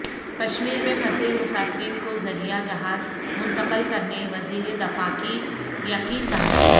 کشمیر میں پھنسے مسافرین کو ذریعہ جہاز منتقل کرنے وزیر دفاع کی یقین دہانی